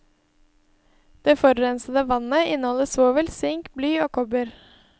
Det forurensede vannet inneholder svovel, sink, bly og kopper.